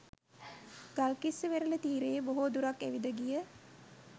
ගල්කිස්ස වෙරළ තීරයේ බොහෝ දුරක් ඇවිද ගිය